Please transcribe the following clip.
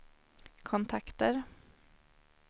kontakter